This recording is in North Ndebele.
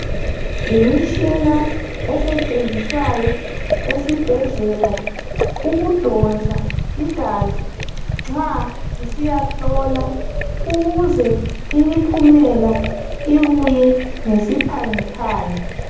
Yimitshina esetshenziswayo esibhedlela ukudonsa igazi nxa lisiyahlolwa ukuze imiphumela ibuye ngesiphangiphangi.